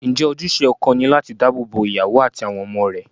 Ǹjẹ́ ojúṣe ọkọ ni láti dáàbò bo ìyàwó àti àwọn ọmọ rẹ̀?